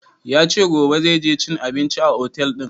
Ya ce gobe zai je cin abinci a otel ɗin